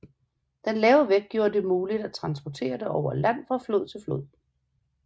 Den lave vægt gjorde det muligt at transportere det over land fra flod til flod